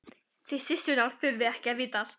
Þið systurnar þurfið ekki að vita allt.